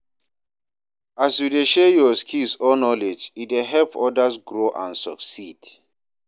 as you dey share yur skills or knowledge, e dey help odas grow and succeed.